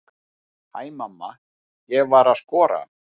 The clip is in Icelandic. Hæ mamma, ég var að skora!